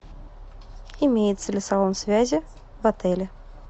имеется ли салон связи в отеле